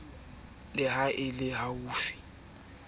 le ha e le hofe